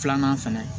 Filanan fɛnɛ